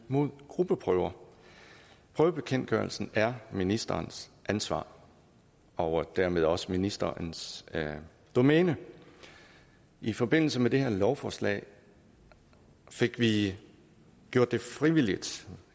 imod gruppeprøver prøvebekendtgørelsen er ministerens ansvar og dermed også ministerens domæne i forbindelse med det her lovforslag fik vi gjort det frivilligt